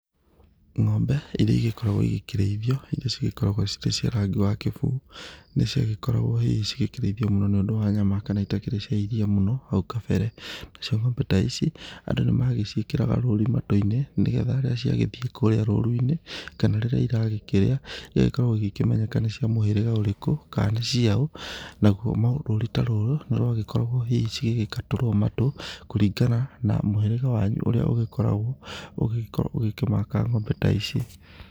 Ng'ombe iria igĩkoragwo igĩkĩrĩithio, iria cigĩkoragwo cirĩ cia rangi wa kĩbuu, nĩcigĩkoragwo hihi cĩgĩkĩrĩithio mũno nĩũndũ wa nyama kana itakĩrĩ cia iria mũno, hau kabere. Nacio ng'ombe ta ici andũ nĩ magĩciĩkĩraga rũũri matũ-inĩ nĩgetha rĩrĩa ciagĩthiĩ kũrĩa rũũru-inĩ, kana rĩrĩa iragĩkĩrĩa igagĩkorwo igĩkĩmenyeka nĩcia mũhĩrĩga ũrĩkũ, kana nĩ ciaũũ, naguo rũũri ta rũu, nĩciagĩkoragwo hihi cĩgakatũrwo matũ kũringana na mũhĩrĩga wanyu ũrĩa ũgĩkoragwo ũgĩkĩmaaka ng'ombe ta ici.